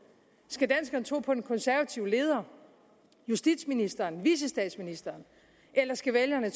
skal danskerne tro på den konservative leder justitsministeren vicestatsministeren eller skal vælgerne